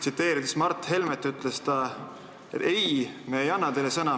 Tsiteerin Mart Helmet: "Ei, me ei anna teile sõna.